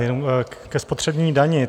Jenom ke spotřební dani.